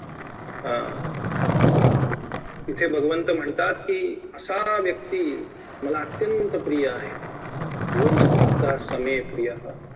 अं अं इथे भगवंत म्हणतात की असा व्यक्ती मला अत्यंत प्रिय आहे योमधभक्तासमेप्रियः